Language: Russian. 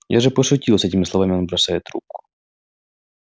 я же пошутил с этими словами он бросает трубку